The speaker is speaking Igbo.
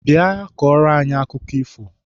Bịa kọọrọ anyị akụkọ ifo!